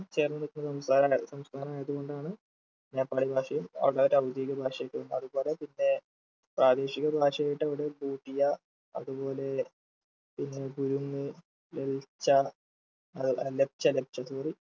ചേർന്നു നിൽക്കുന്ന വേറെ സംസ്ഥാനമായതു കൊണ്ടാണ് നേപ്പാളി ഭാഷയും അതവരുടെ ഔദ്യോഗിക ഭാഷയായിട്ടും അതുപോലെ പിന്നേ പ്രാദേശിക ഭാഷയായിട്ട് അവിടെ ബുഡിയ അതുപോലെ പിന്ന ഗുരുങ് ലെലിച്ച ആഹ് ലെക്ച്ച ലെക്ച്ച sorry